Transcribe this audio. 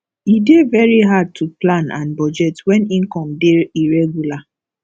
e dey very hard to plan and budget when income dey irregular